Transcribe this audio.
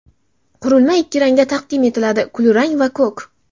Qurilma ikki rangda taqdim etiladi: kulrang va ko‘k.